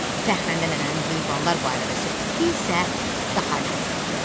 Fəxrəndə nənənin heyvanlar barədə söhbəti isə daha ləzzətli oldu.